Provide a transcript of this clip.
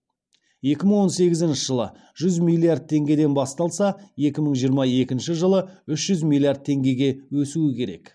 екі мың он сегізінші жылы жүз миллирад теңгеден басталса екі мың жиырма екінші жылы үш жүз миллиард теңгеге өсуі керек